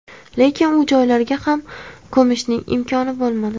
Lekin u joylarga ham ko‘mishning imkoni bo‘lmadi.